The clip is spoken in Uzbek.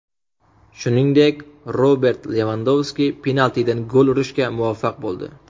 Shuningdek, Robert Levandovski penaltidan gol urishga muvaffaq bo‘ldi.